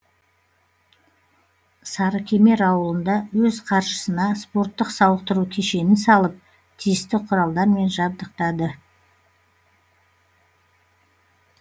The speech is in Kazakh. сарыкемер ауылында өз қаржысына спорттық сауықтыру кешенін салып тиісті құралдармен жабдықтады